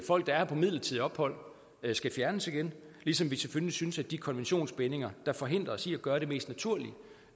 folk der er på midlertidigt ophold skal fjernes igen ligesom vi selvfølgelig synes at de konventionsbindinger der forhindrer os i at gøre det mest naturlige